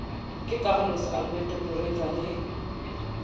ke carlos alberto parreira le